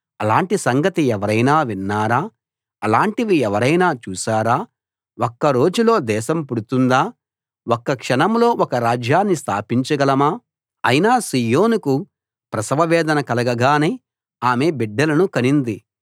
అలాంటి సంగతి ఎవరైనా విన్నారా అలాంటివి ఎవరైనా చూశారా ఒక్క రోజులో దేశం పుడుతుందా ఒక్క క్షణంలో ఒక రాజ్యాన్ని స్థాపించగలమా అయినా సీయోనుకు ప్రసవవేదన కలగగానే ఆమె బిడ్డలను కనింది